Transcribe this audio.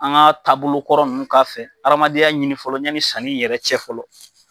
An ka taabolokɔrɔ ninnu k'a fɛ, an adamadenya nini fɔlɔ yani yɛrɛ cɛ fɔlɔ.